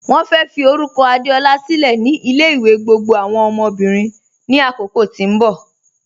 Wọ́n fẹ́ fí orúkọ̀ Adeọla sílẹ̀ ni ilẹ̀-ìwẹ̀ gbogbo awọn ọmọ́bìrín ni àkókò tí n bọ